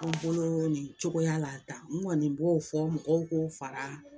An bolo nin cogoya la tan n kɔni b'o fɔ mɔgɔw k'o fara